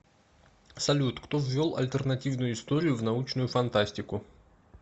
салют кто ввел альтернативную историю в научную фантастику